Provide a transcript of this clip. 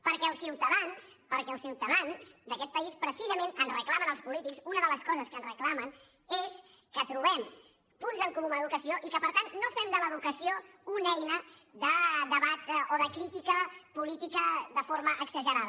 perquè els ciutadans perquè els ciutadans d’aquest país precisament ens reclamen als polítics una de les coses que ens reclamen és que trobem punts en comú en educació i que per tant no fem de l’educació una eina de debat o de crítica política de forma exagerada